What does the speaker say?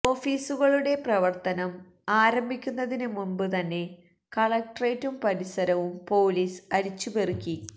ഓഫീസുകളുടെ പ്രവര്ത്തനം ആരംഭിക്കുന്നതിന് മുന്പ് തന്നെ കളക്ടറേറ്റും പരിസരവും പോലീസ് അരിച്ചുപെറുക്കി